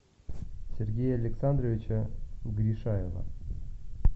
сергея александровича гришаева